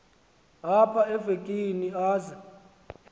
apha evekini aze